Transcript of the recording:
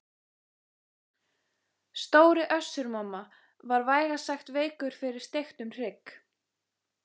Stóri Össur-Mamma var vægast sagt veikur fyrir steiktum hrygg.